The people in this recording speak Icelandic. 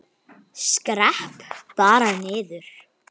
Skrepp bara niður.